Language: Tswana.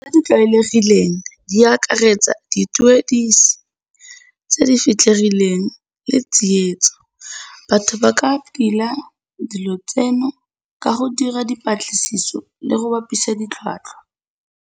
Tse di tlwaelegileng di akaretsa dituediso tse di fitlhegileng le tsietso. Batho ba ka tila dilo tseno ka go dira dipatlisiso le go bapisa ditlhwatlhwa.